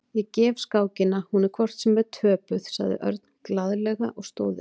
Ég gef skákina, hún er hvort sem er töpuð, sagði Örn glaðlega og stóð upp.